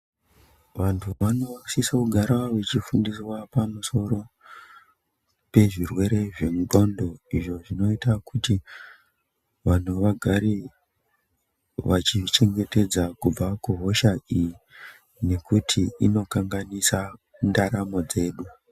Vantu vanosisa kugara vechifundiswa pamusoro pezvirwere zve nxondo izvo zvinoita kuti vanhu vagare vachizvichengetedza kubva kuhosha iyi nekuti inokanganisa ndaramo dzedu.